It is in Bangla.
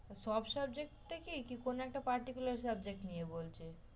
সব subject টেই কি, কি কোনো একটা particular subject নিয়ে বলছিস?